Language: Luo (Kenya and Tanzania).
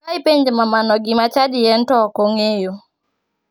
Ka ipenjo mamano gima chadi en to ok ong'eyo.